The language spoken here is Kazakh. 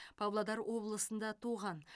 павлодар облысында туған